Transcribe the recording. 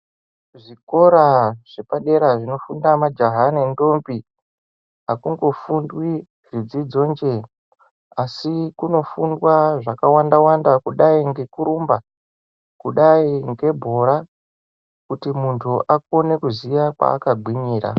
Zvikora zvepa dera zvino funda majaha ne ndombi akungo fundwi zvidzidzo nje asi kuno fundwa zvakawanda kudai ngekurumba kudai ngebhora kuti mundu akone kuziya kwa aka gwinyira.